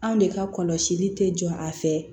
Anw de ka kɔlɔsili tɛ jɔ a fɛ